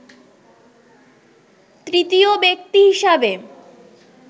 তৃতীয় ব্যক্তি হিসাবে